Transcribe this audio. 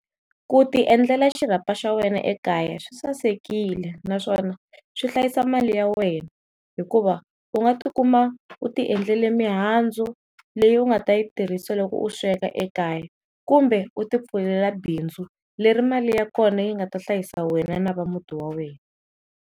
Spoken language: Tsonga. Ku tiendlela xirapha xa wena ekaya swi sasekile naswona swi hlayisa mali ya wena hikuva u nga ti kuma u tiendlele mihandzu leyi u nga ta yi tirhisa loko u sweka ekaya kumbe u tipfulela bindzu leri mali ya kona yi ngata hlayisa wena na va muti wa wena.